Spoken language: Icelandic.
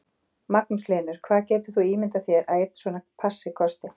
Magnús Hlynur: Hvað getur þú ímyndað þér að einn svona passi kosti?